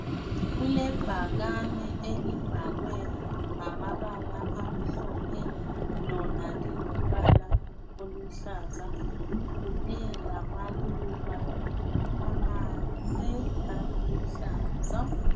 Kulebhakane elibhalwe ngamabala amhlophe. Lona lilombala oluhlaza kunye lamaluba amahle aluhlaza.